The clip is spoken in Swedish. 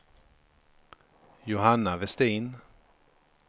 Johanna Westin